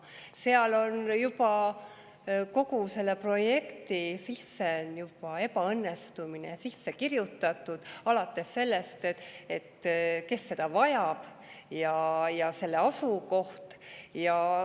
Seal on kogu sellesse projekti ebaõnnestumine juba sisse kirjutatud, alates sellest, kes seda vajab, ja selle asukohast.